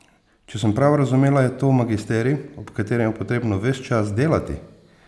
Če sem prav razumela, je to magisterij, ob katerem je potrebno ves čas delati?